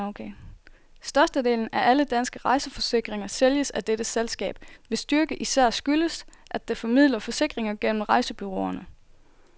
Størstedelen af alle danske rejseforsikringer sælges af dette selskab, hvis styrke især skyldes, at det formidler forsikringer gennem rejsebureauerne.